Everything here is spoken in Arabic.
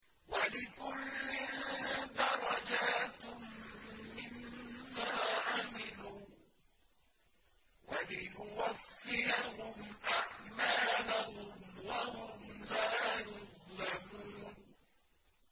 وَلِكُلٍّ دَرَجَاتٌ مِّمَّا عَمِلُوا ۖ وَلِيُوَفِّيَهُمْ أَعْمَالَهُمْ وَهُمْ لَا يُظْلَمُونَ